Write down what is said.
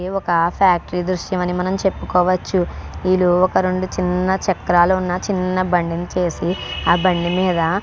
ఇది ఒక ఫ్యాక్టరీ దృశ్యం అని చెప్పుకోవచ్చు వీలు ఒక చిన్న చక్రాలు ఉన్న చిన్న బండి ని చేసి ఆ బండి మీద --